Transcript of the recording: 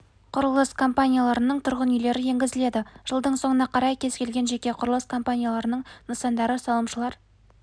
құрылыс компанияларының тұрғын үйлері енгізіледі жылдың соңына қарай кез келген жеке құрылыс компанияларының нысандары салымшылар